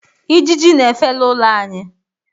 ijiji n'efe n’ụlọ anyị